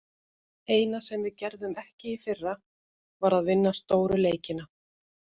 Eina sem við gerðum ekki í fyrra, var að vinna stóru leikina.